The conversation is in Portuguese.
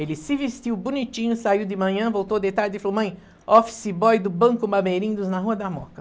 Ele se vestiu bonitinho, saiu de manhã, voltou de tarde e falou, mãe, office boy do Banco Bameirindos na Rua da Moca.